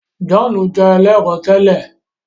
John jé ẹlẹrọ tèlé